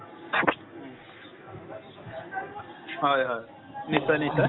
হয় হয় নিশ্চয় নিশ্চয়